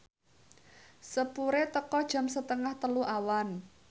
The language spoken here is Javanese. sepure teka jam setengah telu awan